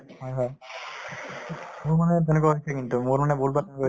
হয় হয়। মোৰ মানে তেনেকুৱা হৈছে কিন্তু। মোৰ মানে বহুত বাৰ তেনেকুৱা হৈছে